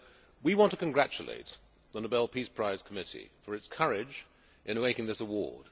We want to congratulate the Nobel Peace Prize Committee for its courage in making this award.